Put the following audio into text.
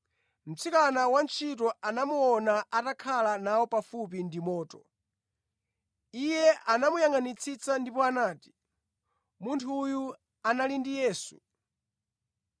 Mtsikana wantchito anamuona atakhala nawo pafupi ndi moto. Iye anamuyangʼanitsitsa ndipo anati, “Munthu uyu anali ndi Yesu.”